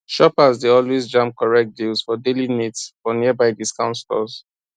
shoppers dey always jam correct deals for daily needs for nearby discount stores